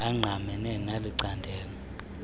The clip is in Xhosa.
angqamene neli candelo